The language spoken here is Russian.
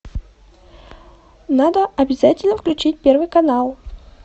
надо обязательно включить первый канал